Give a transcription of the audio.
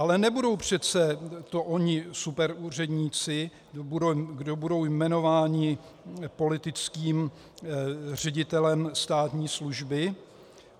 Ale nebudou to přece oni superúředníci, kdo budou jmenováni politickým ředitelem státní služby?